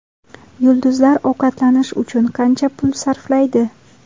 Yulduzlar ovqatlanish uchun qancha pul sarflaydi?.